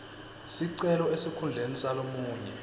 sicelo esikhundleni salomunye